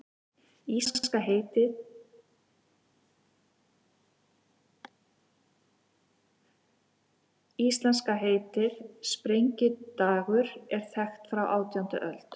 Íslenska heitið, sprengidagur, er þekkt frá átjándu öld.